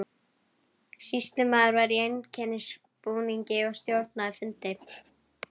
Sýslumaður var í einkennisbúningi og stjórnaði fundi.